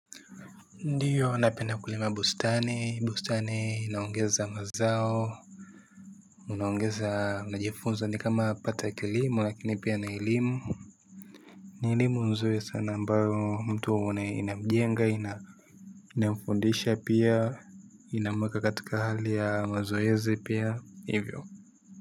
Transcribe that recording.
Ndio napenda kulima bustani, bustani inaongeza mazao unaongeza unajifunza ni kama pata kilimo lakini pia ni elimu ni elimu nzuri sana ambayo mtu ina inamjenga ina inamfundisha pia inamuweka katika hali ya mazoezi pia hivyo.